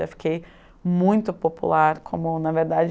Daí eu fiquei muito popular como, na verdade,